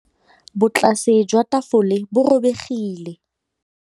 Botlasê jwa tafole bo robegile.